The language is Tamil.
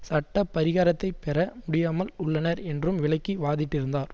சட்ட பரிகாரத்தைப்பெற முடியாமல் உள்ளனர் என்றும் விளக்கி வாதிட்டிருந்தார்